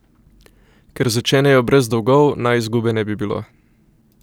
Ker začenjajo brez dolgov, naj izgube ne bi bilo.